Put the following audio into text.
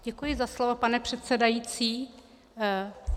Děkuji za slovo, pane předsedající.